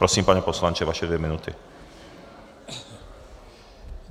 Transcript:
Prosím, pane poslanče, vaše dvě minuty.